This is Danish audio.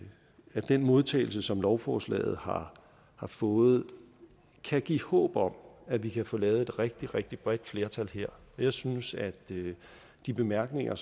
at den modtagelse som lovforslaget har har fået kan give håb om at vi kan få lavet et rigtig rigtig bredt flertal her jeg synes at de bemærkninger